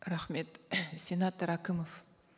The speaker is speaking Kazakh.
рахмет сенатор әкімов